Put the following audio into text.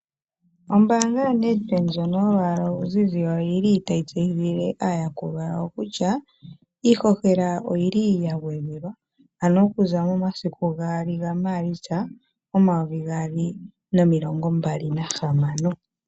Ombaanga yaNedbank ndjono yolwaala oluzize oyili tayi tseyithile aayakulwa yawo kutya iihohela oyili yagwedhelwa. Ano okuza momasiku gaali gaMaalitsa 2026.